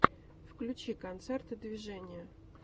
включи концерты движения